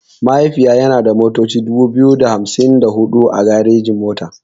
Mahaifiya yana da motoci dubu biyu da hamsin da huɗu a garejin mota.